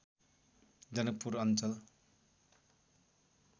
जनकपुर अञ्चल